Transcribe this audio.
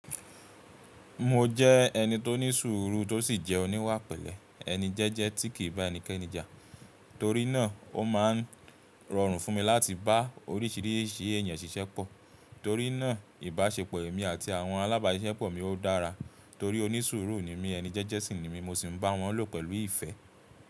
Mo jẹ́ ẹni tó ní sùúrù tó sì jẹ́ oníwà pẹ̀lẹ́ ẹni jẹ́jẹ́ tí kì í bá ẹnikẹ́ni jà. Torí náà, o máa ń rọrùn fún mi láti bá oríṣìíríṣìí èèyàn ṣiṣẹ́pọ̀. Torí náà ìbáṣepọ̀ èmi àti àwọn alábáṣiṣẹ́pọ̀mi ó dára torí ó ní sùúrù nímí ẹni jẹ́jẹ́ sì ni mí mọsi b'áwọn lò pẹ̀lú ìfẹ́.